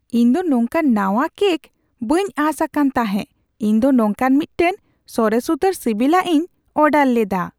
ᱤᱧ ᱫᱚ ᱱᱚᱝᱠᱟᱱ ᱱᱟᱣᱟ ᱠᱮᱠ ᱵᱟᱹᱧ ᱟᱸᱥ ᱟᱠᱟᱱ ᱛᱟᱦᱮᱸ ᱤᱧ ᱫᱚ ᱱᱚᱝᱠᱟᱱ ᱢᱤᱫᱴᱟᱝ ᱥᱚᱨᱮᱥ ᱩᱛᱟᱹᱨ ᱥᱤᱵᱤᱞᱟᱜ ᱤᱧ ᱚᱰᱟᱨ ᱞᱮᱫᱟ !